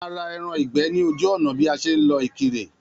A má ra ẹran ìgbẹ́ ní ojú ònà bí a ṣe ń lọ Ìkirè